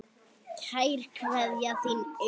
Kær kveðja, þín Auður